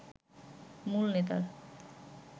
মূল নেতার